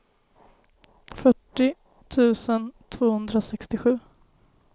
fyrtio tusen tvåhundrasextiosju